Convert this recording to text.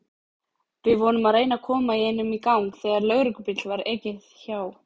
Við vorum að reyna að koma einum í gang þegar lögreglubíl var ekið hjá.